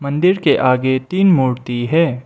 मंदिर के आगे तीन मूर्ति है।